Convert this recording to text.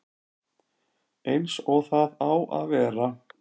Eins og það á að vera